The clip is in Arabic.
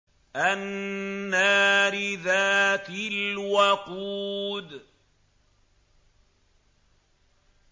النَّارِ ذَاتِ الْوَقُودِ